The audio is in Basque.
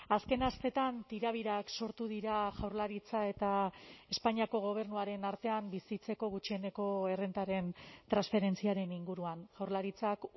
azken asteetan tirabirak sortu dira jaurlaritza eta espainiako gobernuaren artean bizitzeko gutxieneko errentaren transferentziaren inguruan jaurlaritzak